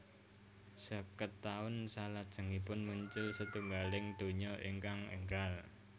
Sèket taun salajengipun muncul setunggaling donya ingkang énggal